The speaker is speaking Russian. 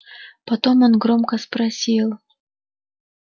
потом он громко спросил